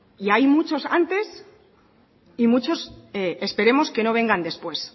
y hay muchos antes y muchos esperemos que no vengan después